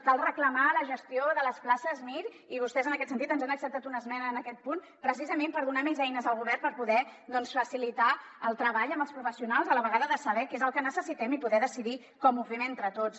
cal reclamar la gestió de les places mir i vostès en aquest sentit ens han acceptat una esmena en aquest punt precisament per donar més eines al govern per poder doncs facilitar el treball amb els professionals a la vegada de saber què és el que necessitem i poder decidir com ho fem entre tots